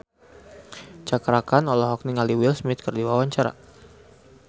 Cakra Khan olohok ningali Will Smith keur diwawancara